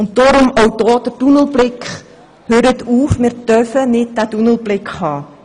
Deshalb auch hier wieder: Hören Sie damit auf, wir dürfen keinen solchen Tunnelblick haben!